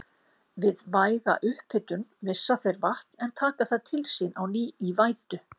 Við væga upphitun missa þeir vatn en taka það til sín á ný í vætu.